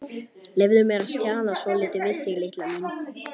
Leyfðu mér að stjana svolítið við þig, litla mín.